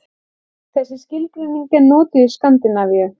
Þessi skilgreining er notuð í Skandinavíu.